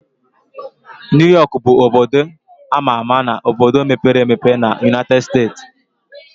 New York bụ obodo ama ama na obodo mepere emepe na United States